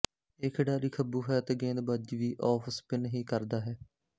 ਇਹ ਖਿਡਾਰੀ ਖੱਬੂ ਹੈ ਅਤੇ ਗੇਂਦਬਾਜ਼ੀ ਵੀ ਆਫ਼ਸਪਿੱਨ ਹੀ ਕਰਦਾ ਹੈ